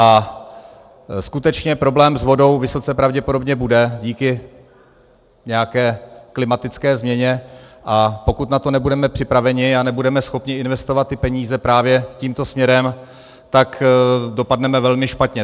A skutečně problém s vodou vysoce pravděpodobně bude díky nějaké klimatické změně, a pokud na to nebudeme připraveni a nebudeme schopni investovat ty peníze právě tímto směrem, tak dopadneme velmi špatně.